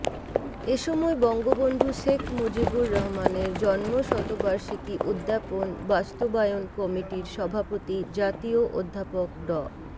এ সময় বঙ্গবন্ধু শেখ মুজিবুর রহমানের জন্মশতবার্ষিকী উদ্যাপন বাস্তবায়ন কমিটির সভাপতি জাতীয় অধ্যাপক ড